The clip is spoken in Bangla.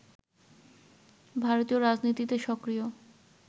ভারতীয় রাজনীতিতে সক্রিয়